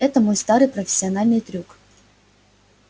это мой старый профессиональный трюк